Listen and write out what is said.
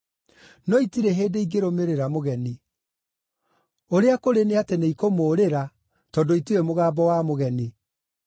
No itirĩ hĩndĩ ingĩrũmĩrĩra mũgeni; ũrĩa kũrĩ nĩ atĩ nĩikũmũũrĩra, tondũ itiũĩ mũgambo wa mũgeni.”